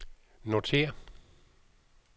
notér